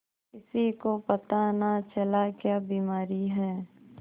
किसी को पता न चला क्या बीमारी है